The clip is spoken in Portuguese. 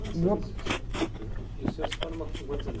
Antes, só, me perdoa, e o senhor se forma com quantos anos?